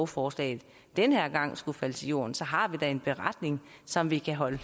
forslaget den her gang skulle falde til jorden så har vi da en beretning som vi kan holde